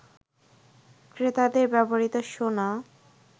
ক্রেতাদের ব্যবহৃত সোনা